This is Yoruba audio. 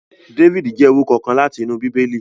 David jẹ orukọ kan lati inu Bibeli